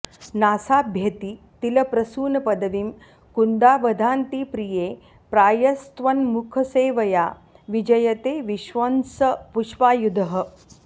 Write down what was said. नासाभ्येति तिलप्रसूनपदवीं कुन्दाभदान्ति प्रिये प्रायस्त्वन्मुखसेवया विजयते विश्वं स पुष्पायुधः